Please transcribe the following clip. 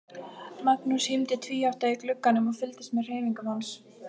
Magnús hímdi tvíátta í glugganum og fylgdist með hreyfingum hans.